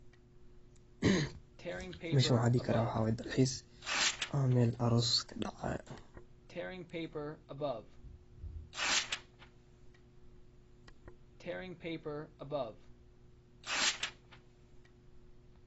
Meshaan waaxaan dihi karaa waaxaay dalxiis, ama meel aroos kadacaayo.